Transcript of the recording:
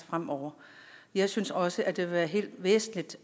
fremover jeg synes også at det vil være helt væsentligt